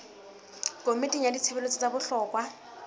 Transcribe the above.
komiting ya ditshebeletso tsa bohlokwa